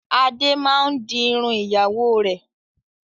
Adé máa ń di irun ìyàwó rẹ̀.